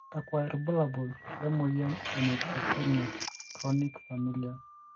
kakua irbulabol le moyian e Neutropenia chronic familial?